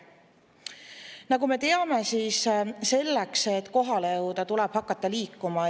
Nagu me teame, selleks et kohale jõuda, tuleb hakata liikuma.